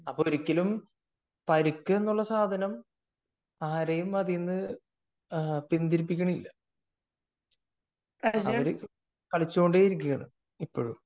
അപ്പൊൾ ഒരിക്കലും പരിക്ക് എന്നൊരു സാധനം ആരെയും പിന്തിരിപ്പിക്കുന്നില്ല അവര് കളിച്ചു കൊണ്ടേയിരിക്കുകയാണ് ഇപ്പോഴും